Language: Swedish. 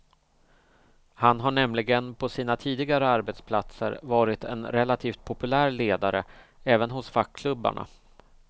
Han har nämligen på sina tidigare arbetsplatser varit en relativt populär ledare även hos fackklubbarna.